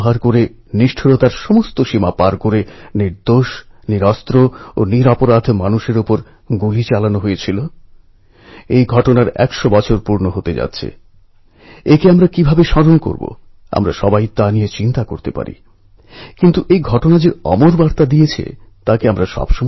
আমরাও বরং একটু পরখ করে নিই আমাদের ক্ষেত্রেও এরকম কিছু ঘটেনি তো অবস্থান পরিস্থিতি বা দূরত্ব আমাদেরও বিচ্ছিন্ন করে দেয়নি তো কোনও আস্তরণ পড়ে যায়নি তো ভেবে দেখুন অবশ্যই